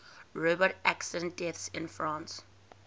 road accident deaths in france